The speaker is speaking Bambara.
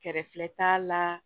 Kɛrɛfɛ t'a la